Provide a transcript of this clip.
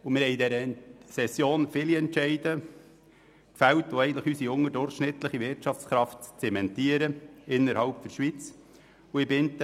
Wir haben in dieser Session zahlreiche Entscheide gefällt, die unsere unterdurchschnittliche Wirtschaftskraft innerhalb der Schweiz zementieren.